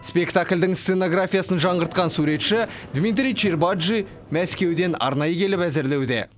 спектакльдің сценографиясын жаңғыртқан суретші дмитрий чербаджи мәскеуден арнайы келіп әзірлеуде